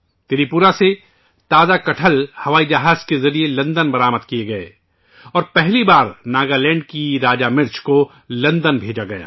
تری پورہ سے تازہ کٹہل ہوائی جہاز کے ذریعے لندن برآمد کئے گئے اور پہلی بار ناگالینڈ کی راجہ مرچ لندن بھیجی گئی